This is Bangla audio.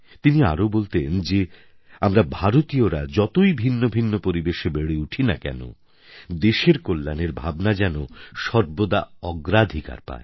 তিনি আরও বলতেন যে আমরা ভারতীয়রা যতই ভিন্ন ভিন্ন পরিবেশে বেড়ে উঠি না কেন দেশের কল্যাণের ভাবনা যেন সর্বদা অগ্রাধিকার পায়